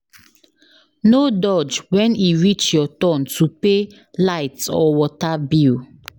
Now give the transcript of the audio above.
No dodge when e reach your turn to pay light or water bill.